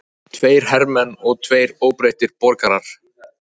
Tveir hermenn og tveir óbreyttir borgarar